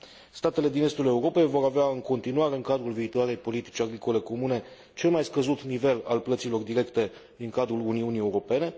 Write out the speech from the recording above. Statele din estul Europei vor avea în continuare, în cadrul viitoarei politici agricole comune, cel mai scăzut nivel al plăților directe din cadrul Uniunii Europene.